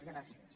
gràcies